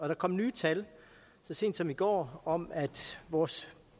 der kom nye tal så sent som i går om at vores